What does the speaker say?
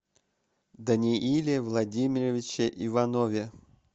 данииле владимировиче иванове